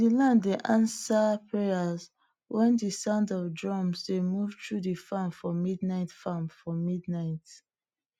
de land dey answer prayers wen de sound of drum dey move through de farm for midnight farm for midnight